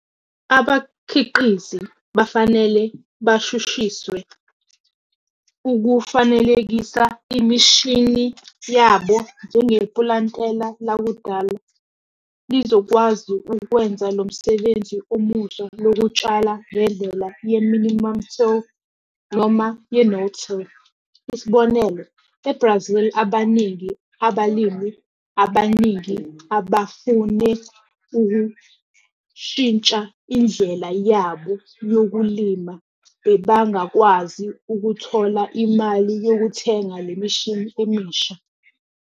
Abakhiqizi bafanele bashushiswe ukufanelekisa imishini yabo njengepulantela lakudala lizokwazi ukwenza lo msebenzi omusha lokutshala ngendlela ye-'minimum-till noma ye-'no-till'. Isibonelo- eBrazil abaningi abalimi abaningi abafune ukushintsha indlela yabo yokulima bebangakwazi ukuthola imali yokuthenga le mishini emisha.